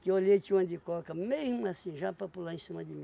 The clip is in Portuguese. Que eu olhei tinha uma de coca, mesmo assim, já para pular em cima de mim.